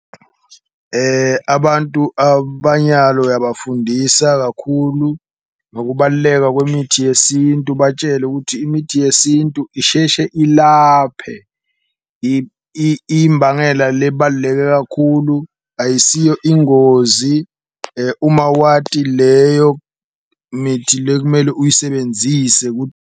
Abantu abanyalo uyabafundisa kakhulu ngokubaluleka kwemithi yesintu, ubatshele ukuthi imithi yesintu isheshe ilaphe imbangela lebaluleke kakhulu. Ayisiyo ingozi, uma wati leyo mithi lekumele uyisebenzise .